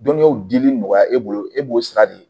Dɔnniyaw dili nɔgɔya e bolo e b'o sira de ye